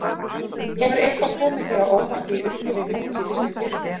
Hefur eitthvað komið þér á óvart í upphafi móts í fyrstu deildinni?